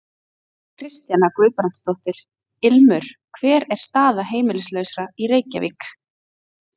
Kristjana Guðbrandsdóttir: Ilmur hver er staða heimilislausra í Reykjavík?